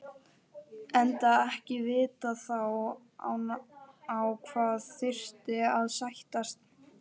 Enda ekki vitað þá á hvað þyrfti að sættast.